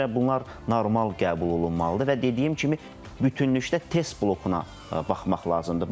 Ona görə bunlar normal qəbul olunmalıdır və dediyim kimi bütövlükdə test blokuna baxmaq lazımdır.